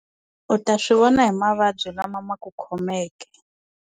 U ta swi vona hi mavabyi lama ma ku khomeke.